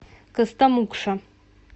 костомукша